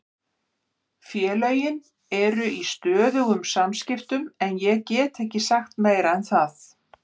Félögin eru í stöðugum samskiptum en ég get ekki sagt meira en það.